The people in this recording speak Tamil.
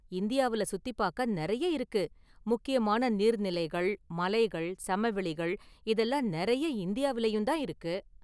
இந்தியாவுல சுத்திப்பார்க்க நிறைய இருக்கு, முக்கியமான​ நீர்நிலைகள், மலைகள், சமவெளிகள் இதெல்லாம் நிறைய இந்தியாவிலேயும் தான் இருக்கு.